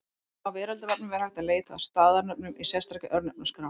Á Veraldarvefnum er hægt að leita að staðarnöfnum í sérstakri Örnefnaskrá.